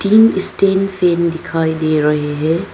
तीन stand fan दिखाई दे रहे है।